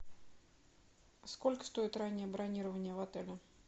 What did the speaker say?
сколько стоит раннее бронирование в отеле